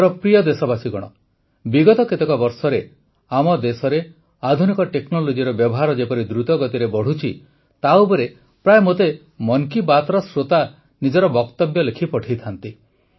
ମୋର ପ୍ରିୟ ଦେଶବାସୀଗଣ ବିଗତ କେତେକ ବର୍ଷରେ ଆମ ଦେଶରେ ଆଧୁନିକ ଟେକ୍ନୋଲୋଜିର ବ୍ୟବହାର ଯେପରି ଦ୍ରୁତଗତିରେ ବଢ଼ୁଛି ତା ଉପରେ ପ୍ରାୟ ମୋତେ ମନ୍ କୀ ବାତ୍ର ଶ୍ରୋତା ନିଜର ବକ୍ତବ୍ୟ ଲେଖି ପଠାଇଥାନ୍ତି